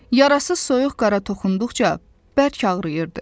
Yarası soyuq qara toxunduqca bərk ağrıyırdı.